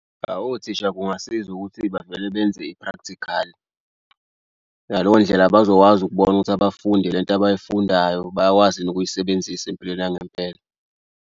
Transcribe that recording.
Awu othisha kungasiza ukuthi bavele benze i-practical ngaleyo ndlela bazokwazi ukubona ukuthi abafundi le nto abayifundayo bayakwazi yini ukuyisebenzisa empilweni yangempela.